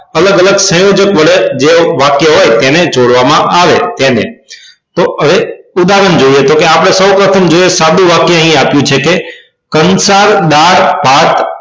અલગ અલગ સંયોજક વડે જે વાક્ય હોય તેને જોડવામાં આવે તેને તો હવે ઉદાહરણ જોઈએ તો કે આપણે સૌપ્રથમ જે આપણે સાદું વાક્ય અહી આપ્યું છે કંસાર દાળ ભાત